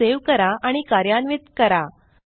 file save करा आणि कार्यान्वित करा